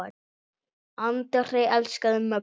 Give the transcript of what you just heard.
Andri elskaði Möggu.